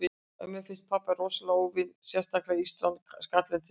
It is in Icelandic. Ömmu finnst pabbi rosalega ófínn, sérstaklega ístran og skallinn til skammar.